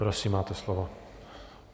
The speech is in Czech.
Prosím, máte slovo.